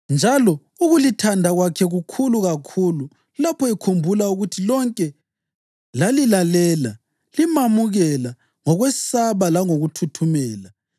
Njalo ukulithanda kwakhe kukhulu kakhulu lapho ekhumbula ukuthi lonke lalilalela, limamukela ngokwesaba langokuthuthumela.